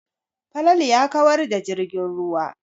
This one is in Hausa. Falalu ya kawar da jirgin ruwa.